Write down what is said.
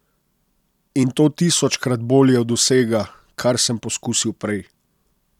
In to tisočkrat bolje od vsega, kar sem poskusil prej!